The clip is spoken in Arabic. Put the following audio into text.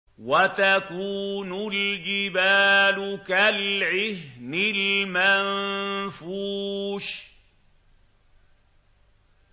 وَتَكُونُ الْجِبَالُ كَالْعِهْنِ الْمَنفُوشِ